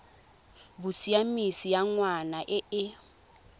bosiamisi ya ngwana e e